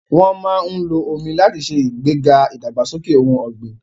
Wọ́n máa ń lo omi láti ṣe ìgbéga ìdàgbàsókè ohun ọ̀gbìn.